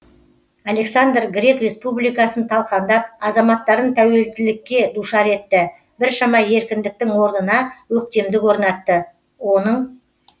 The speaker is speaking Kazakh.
александр грек республикасын талқандап азаматтарын тәуелділікке душар етті біршама еркіндіктің орнына өктемдік орнатты оның